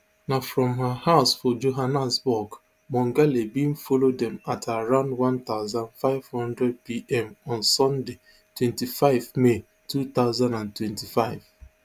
na from her house for johannesburg mongale bin follow dem at around one thousand, five hundred pm on sunday twenty-five may two thousand and twenty-five